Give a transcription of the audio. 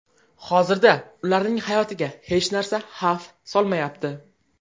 Hozirda ularning hayotiga hech narsa xavf solmayapti.